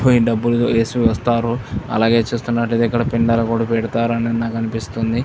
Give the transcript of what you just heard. పోయి డబ్బులు వేసి వస్తారు. అలాగే చూస్తున్నట్టు అయితే ఇక్కడ పిండాలు లాంటివి కూడా పెడతారు అని కనిపిస్తుంది.